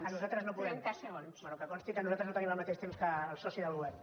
ah nosaltres no podem bé que consti que nosaltres no tenim el mateix temps que el soci del govern